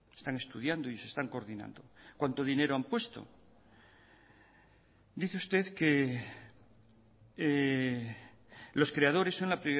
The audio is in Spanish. están estudiando y se están coordinando cuánto dinero han puesto dice usted que los creadores son la